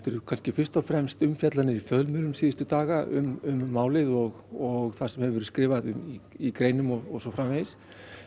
er fyrst og fremst umfjöllun fjölmiðla fyrstu daga um málið og það sem hefur verið skrifað í greinum og svo framvegis